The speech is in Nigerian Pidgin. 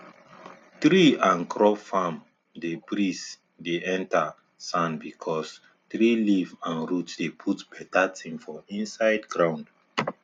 tree and um crop farm dey breeze dey enter sand because um tree leaf and root dey put better thing for inside ground